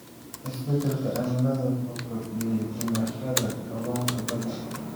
Isbeddelka cimilada wuxuu kordhiyay dhimashada kalluunka badda.